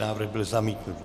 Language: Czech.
Návrh byl zamítnut.